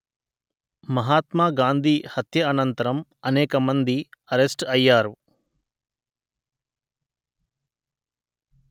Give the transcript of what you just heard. మహాత్మా గాంధీ హత్య అనంతరం అనేక మంది అరెస్ట్ అయ్యారు